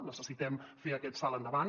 necessitem fer aquest salt endavant